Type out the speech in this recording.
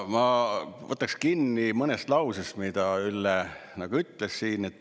Ma võtaks kinni mõnest lausest, mis Ülle siin ütles.